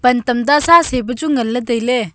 pan tamta sacei pe chu ngan ley tailey.